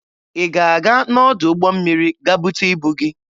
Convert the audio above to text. Ị ga-aga n'ọdụ ụgbọ mmiri ga bute ibu gị?